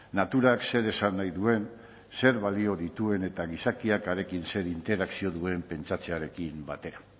naturak zer esan nahi duen zer balio dituen eta gizakiak harekin zer interakzio duen pentsatzearekin batera